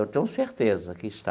Eu tenho certeza que está.